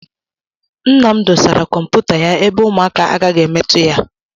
Nna m dosara kọmputa ya ebe ụmụaka agaghị emetụ ya.